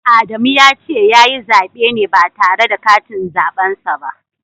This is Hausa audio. Adamu ya ce ya yi zaɓe ne ba tare da katin zaɓen sa ba.